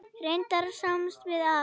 Reyndar sjáum við að